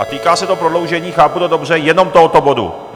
A týká se to prodloužení, chápu to dobře, jenom tohoto bodu?